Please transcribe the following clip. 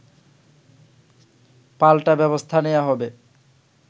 পাল্টা ব্যবস্থা নেয়া হবে